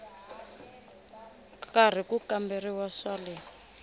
karhi ku kamberiwa swa le